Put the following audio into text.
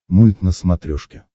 мульт на смотрешке